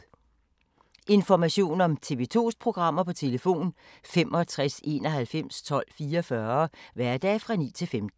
Information om TV 2's programmer: 65 91 12 44, hverdage 9-15.